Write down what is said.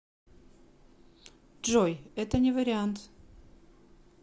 джой это не вариант